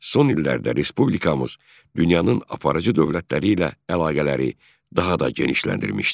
Son illərdə Respublikamız dünyanın aparıcı dövlətləri ilə əlaqələri daha da genişləndirmişdir.